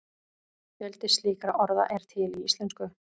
Fjöldi slíkra orða er til í íslensku.